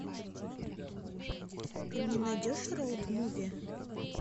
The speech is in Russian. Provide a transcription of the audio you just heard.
ты мне найдешь роуд муви